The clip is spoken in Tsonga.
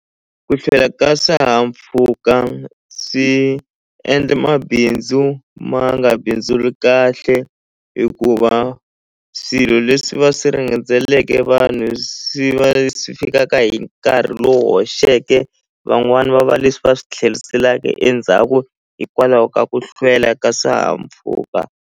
Ku hlwela ka swihahampfhuka swi endle mabindzu ma nga bindzuli kahle hikuva swilo leswi va swi vanhu swi va leswi fikaka hi nkarhi lowu hoxeke van'wani va va leswi va swi tlheliseka endzhaku hikwalaho ka ku hlwela ka swihahampfhuka.